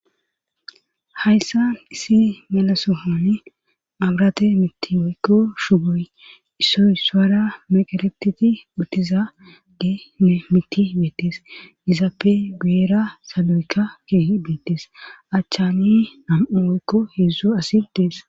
Hayssa isi melasohoni magrate miti eykko shugoy issoy suara meqaleptiti uttiza de e miti beettes izaappe guuera saloweka kee beettees achchani nam'u oykko heedzdzu asi dees